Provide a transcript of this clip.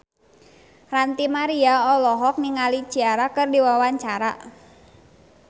Ranty Maria olohok ningali Ciara keur diwawancara